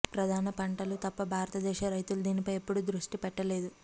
ప్రధాన పంటలు తప్ప భారతీయ రైతులు దీనిపై ఎప్పుడూ దృష్టి పెట్టలేదు